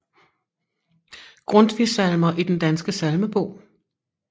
Grundtvig Salmer i Den Danske Salmebog